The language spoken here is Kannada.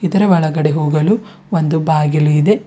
ಇದರ ಒಳಗಡೆ ಹೋಗಲು ಒಂದು ಬಾಗಿಲು ಇದೆ.